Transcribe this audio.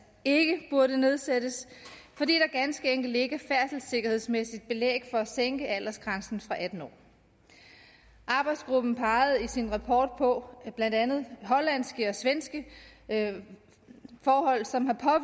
ikke burde nedsættes fordi der ganske enkelt ikke er færdselssikkerhedsmæssigt belæg for at sænke aldersgrænsen fra atten år arbejdsgruppen pegede i sin rapport på blandt andet hollandske og svenske forhold som har